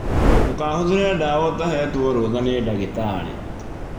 Ndũkahũthĩre dawa ũtahetwo rũtha nĩ dagĩtari